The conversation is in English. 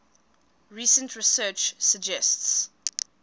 recent research suggests